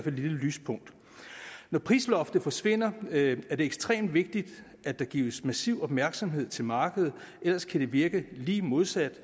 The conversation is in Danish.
et lille lyspunkt når prisloftet forsvinder er det ekstremt vigtigt at der gives massiv opmærksomhed til markedet ellers kan det virke lige modsat